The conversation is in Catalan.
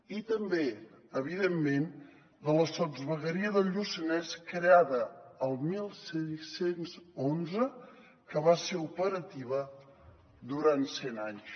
i també evidentment de la sotsvegueria del lluçanès creada el setze deu u que va ser operativa durant cent anys